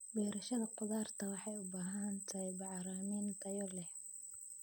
Beerashada khudaarta waxay u baahan tahay bacrimin tayo leh.